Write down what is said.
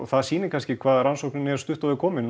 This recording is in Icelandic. það sýnir kannski hvað rannsóknin er stutt á veg komin